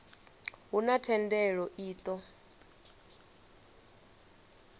a huna thendelo i ṱo